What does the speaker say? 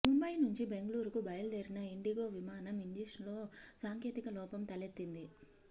ముంబయి నుంచి బెంగళూరుకు బయలుదేరిన ఇండిగో విమానం ఇంజిన్లో సాంకేతిక లోపం తలెత్తింది